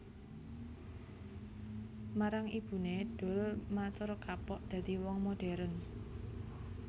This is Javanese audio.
Marang ibuné Doel matur kapok dadi wong moderen